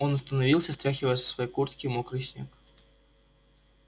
он остановился стряхивая со своей куртки мокрый снег